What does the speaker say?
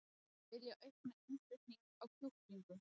Vilja auka innflutning á kjúklingum